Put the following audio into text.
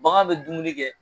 Bagan bɛ dumuni kɛ